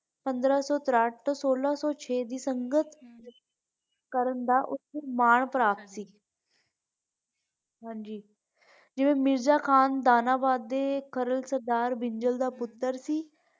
ਪੰਦਰਾਂ ਸੋ ਤੇ ਸੋਲਾਂ ਸੋ ਛੇ ਦੀ ਸੰਗਤ ਕਰਨ ਦਾ ਓਥੇ ਮਾਨ ਪ੍ਰਾਪਤ ਸੀ ਹਾਂਜੀ ਜਿਵੇਂ ਮਿਰਜ਼ਾ ਕਾਹਨ ਦਾਨਾਬਾਦ ਦੇ ਖਰਲ ਸਰਦਾਰ ਬਿੰਜਲ ਦਾ ਪੁੱਤਰ ਸੀ।